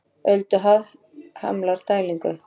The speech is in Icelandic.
Ölduhæð hamlar dælingu